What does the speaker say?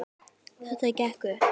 Þetta gekk upp.